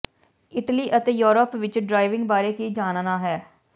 Italy ਅਤੇ Europe ਵਿੱਚ driving ਬਾਰੇ ਕੀ ਜਾਣਨਾ ਹੈ